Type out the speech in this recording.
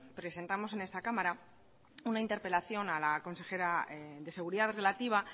presentamos en esta cámara una interpelación a la consejera de seguridad relativa